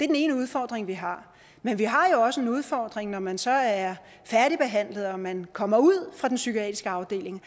den ene udfordring vi har men vi har jo også en udfordring når man så er færdigbehandlet og man kommer ud fra den psykiatriske afdeling